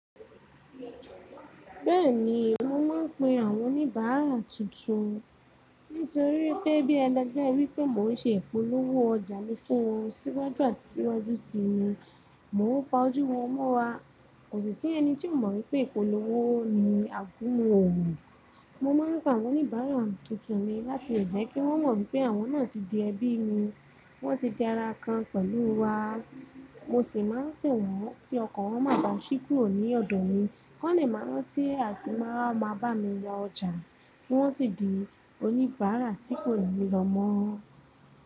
Bẹ́ẹ̀ni, mo máa ń pe àwọn oníbàárà tuntun. Nítorí pé bí ẹlẹ́gbẹ̀ ẹ rí pé mò ń ṣe ìpolówó ọjà mi fún wọn síwájú àti síwájú sí ni. Mo ń pa ojú wọn mọ́ra, kò sì sí ẹni tí ò mọ̀ wípé ìpolówó ni àgúnmu òòrùn. Mo máa ń pe àwọn oníbàárà tuntun mi láti lè jẹ́ kí wọ́n mọ̀ wípé àwọn náà ti di ẹbí mi. Wọ́n ti di ara kan pẹ̀lú wa. Mo sì máa ń pè wọ́n kí ọkọ̀ wọn máa ba ṣíkùró ní ọ̀dọ̀ mi. Wọ́n lè máa rántí àti máa máa bá mi ra ọjà kí wọ́n sì di oníbàárà sípò mi lọ́mọ.